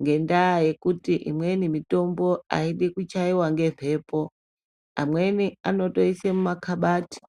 ngenyaya yekuti imweni mitombo aidi kuchaiwa ngembepo amweni anotoise mumakabati.